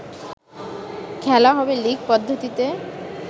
খেলা হবে লিগ পদ্ধতিতে